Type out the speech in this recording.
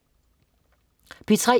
P3: